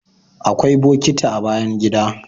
Akwai bokiti a bayan gida